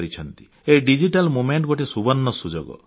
ଏହି digital movement ଗୋଟିଏ ସୁବର୍ଣ୍ଣ ସୁଯୋଗ